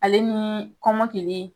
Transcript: Ale ni kɔmɔkili.